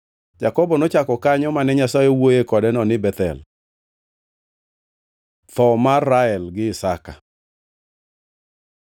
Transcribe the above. Jakobo nochako kanyo mane Nyasaye owuoyoe kodeno ni Bethel. Tho mar Rael gi Isaka